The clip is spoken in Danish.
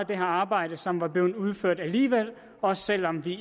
det her arbejde som var blevet udført alligevel også selv om vi